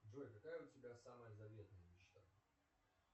джой какая у тебя самая заветная мечта